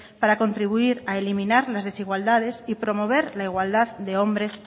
para contribuir a eliminar las desigualdades y promover la igualdad de hombres